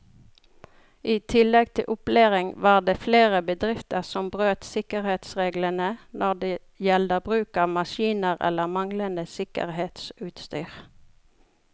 I tillegg til opplæring var det flere bedrifter som brøt sikkerhetsreglene når det gjelder bruk av maskiner eller manglende sikkerhetsutstyr.